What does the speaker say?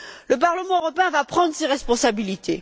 Le Parlement européen va prendre ses responsabilités.